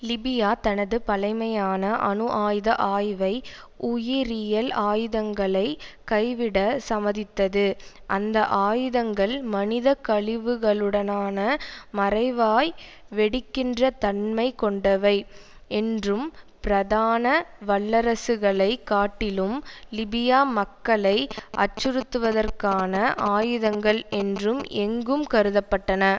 Libya தனது பழைமையான அணு ஆயுத ஆய்வை உயிரியல் ஆயுதங்களை கைவிட சமதித்தது அந்த ஆயுதங்கள் மனித கழிவுகளுடனான மறைவாய் வெடிக்கின்ற தன்மை கொண்டவை என்றும் பிரதான வல்லரசுகளைக் காட்டிலும் லிபியா மக்களை அச்சுறுத்துவதற்கான ஆயுதங்கள் என்றும் எங்கும் கருத பட்டன